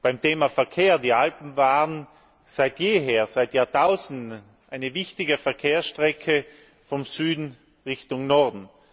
beim Thema Verkehr, die Alpen waren seit jeher, seit Jahrtausenden, eine wichtige Verkehrsstrecke vom Süden Richtung Norden